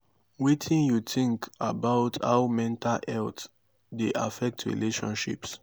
wetin you think about how mental health dey affect relationships?